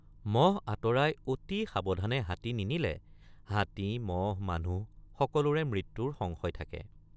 মহ আঁতৰাই অতি সাৱধানে হাতী নিনিলে হাতী মহ মানুহ সকলোৰে মৃত্যুৰ সংশয় থাকে।